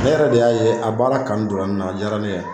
Ne yɛrɛ de y'a ye a baara kanu do la n na a diyara ne ye.